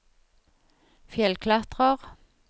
fjellklatrer